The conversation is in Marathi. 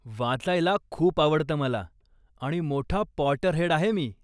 वाचायला खूप आवडतं मला आणि मोठा पॉटरहेड आहे मी.